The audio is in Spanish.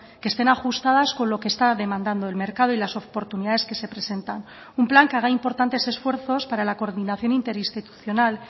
que estén ajustadas con lo que está demandando el mercado y las oportunidades que se presentan un plan que haga importantes esfuerzos para la coordinación interinstitucional